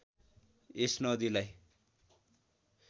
यस नदीलाई